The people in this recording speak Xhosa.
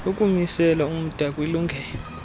ukumisela umda kwilungelo